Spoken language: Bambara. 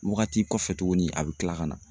Waagati kɔfɛ tugunni a bɛ kila ka na.